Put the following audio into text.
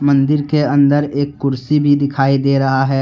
मन्दिर के अन्दर एक कुर्सी भी दिखाई दे रहा है।